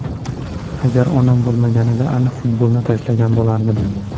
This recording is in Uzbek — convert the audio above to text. Agar onam bo‘lmaganida, aniq futbolni tashlagan bo‘lardim.